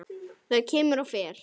Það kemur og fer.